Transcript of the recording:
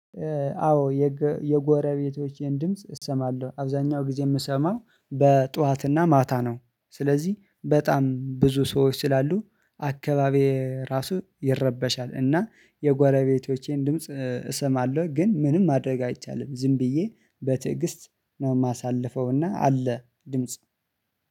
አዎ የጎረቤቶቼን ድምጽ እሰማለው አብዛኛው ጊዜ የሚሰማው በጡዋትና ማታ ነው። ስለዚህ በጣም ብዙ ሰዎች ስላሉ አከባቢ ራሱ ይረበሻል። አና የጎረ ጎረቤቶቼን ድምጽ እሰማለው ግን ምንም ማድረግ አይቻልም። ዝም ብዬ በትዕግስት ነው የማሳልፈው፤ እና አለ ድምጽ።